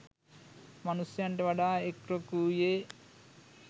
මනුෂ්‍යයන්ට වඩා එක් රොක් වූයේ